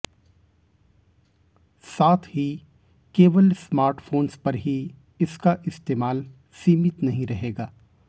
साथ ही केवल स्मार्टफोन्स पर ही इसका इस्तेमाल सीमित नहीं रहेगा